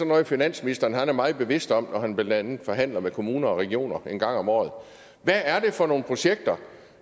noget finansministeren er meget bevidst om når han blandt andet forhandler med kommuner og regioner en gang om året hvad er det så for nogle projekter